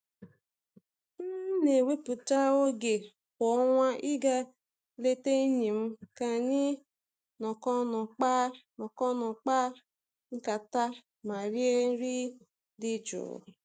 M n'ewepụta oge kwa ọnwa i ga ileta enyi m ka anyị nọk'ọnụ kpaa nọk'ọnụ kpaa nkata ma rie nri dị jụụ.